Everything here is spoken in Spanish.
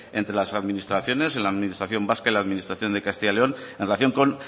entre las propias administraciones en la administración vasca y en la administración de castilla y león en relación con